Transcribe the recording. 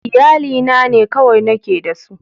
Iyalina ne kawai nake da su